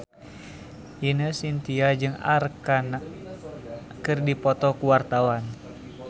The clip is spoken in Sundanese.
Ine Shintya jeung Arkarna keur dipoto ku wartawan